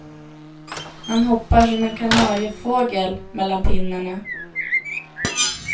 Man hoppar som en kanariefågel mellan pinnarna.